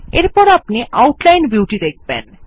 এরপর আপনি আউটলাইন ভিউটি দেখবেন